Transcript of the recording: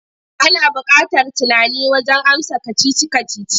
Ana buƙatar tunani wajen amsa kacici-kacici.